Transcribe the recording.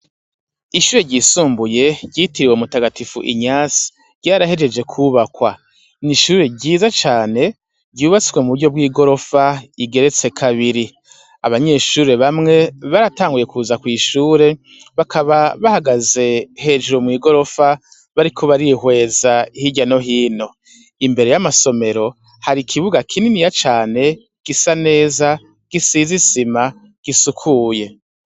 Ishure ryisumbuye ryitiririwe umutagatifu inyace ryarahejejwe kwubakwa , nishure ryiza cane ,ryubatswe muburyo bwigorofa igeretse kabiri , abanyeshure bamwe baratanguye kuza kw'ishure bakaba bahagaze hejuru mwigorofa bariko barihweza Hirya no hino , imbere yamasomero hari ikibuga kinini cane gisa neza gisize Isima isukuye.